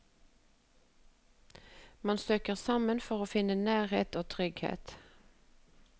Man søker sammen for å finne nærhet og trygghet.